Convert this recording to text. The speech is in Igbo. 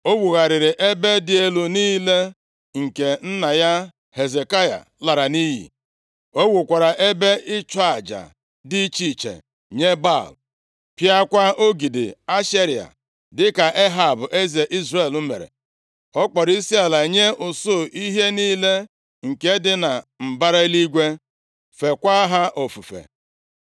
O wugharịrị ebe dị elu niile nke nna ya Hezekaya lara nʼiyi. O wukwara ebe ịchụ aja dị iche iche nye Baal, pịakwa ogidi Ashera, dịka Ehab eze Izrel mere. Ọ kpọrọ isiala nye usuu ihe niile nke dị na mbara eluigwe, + 21:3 Nke a bụ anyanwụ, ọnwa na kpakpando feekwa ha ofufe.